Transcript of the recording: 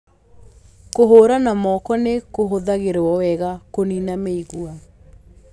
Kũhũũra na moko nĩ kũhũthagĩrũo wega kũniina mĩigua